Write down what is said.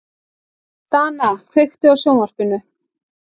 Dana, kveiktu á sjónvarpinu.